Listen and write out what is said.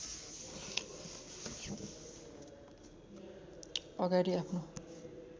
अगाडि आफ्नो